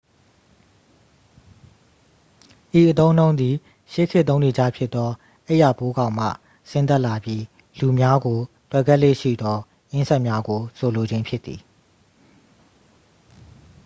ဤအသုံးအနှုန်းသည် ရှေးခေတ်သုံးနေကျဖြစ်သော အိပ်ယာပိုးကောင်မှ ဆင်းသက်လာပြီး လူများကို တွယ်ကပ်လေ့ရှိသော အင်းဆက်များကို ဆိုလိုခြင်းဖြစ်သည်